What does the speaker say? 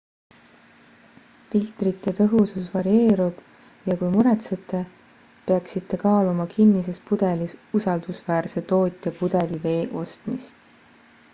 filtrite tõhusus varieerub ja kui muretsete peaksite kaaluma kinnises pudelis usaldusväärse tootja pudelivee ostmist